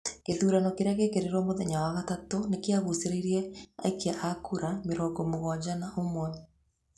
Gĩthurano kĩrĩa gĩekĩrwo mũthenya wa gatatũ nĩkĩagucĩrĩirie aikia a kura mĩrongo mũgwanja na ũmwe.